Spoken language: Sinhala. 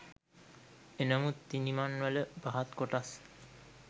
එනමුත් ඉනිමං වල පහත් කොටස්